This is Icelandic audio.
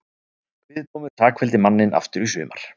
Kviðdómur sakfelldi manninn aftur í sumar